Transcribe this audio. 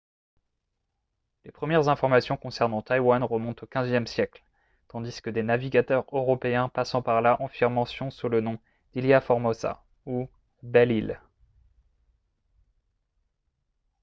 les premières informations concernant taïwan remontent au xve siècle tandis que des navigateurs européens passant par là en firent mention sous le nom d’ilha formosa ou « belle île »